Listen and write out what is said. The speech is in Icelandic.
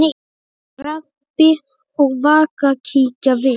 Rebbi og Vaka kíkja við.